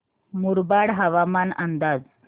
मुरबाड हवामान अंदाज